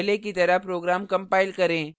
पहले की तरह program कंपाइल करें